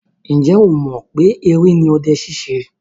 Ǹjẹ́ ọ mọ̀ pé eré ni ọdẹ ṣíṣe?